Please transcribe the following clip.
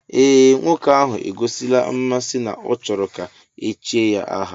Ee nwoke ahụ egosila mmasị na ọ chọrọ ka echie ya aha